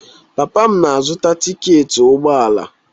Papa m na-azụta tiketi ụgbọala.